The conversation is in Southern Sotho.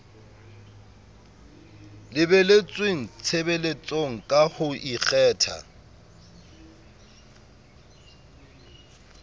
lebeletsweng tshebeletsong ka ho ikgetha